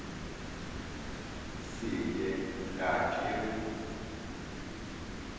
se ye ga ke re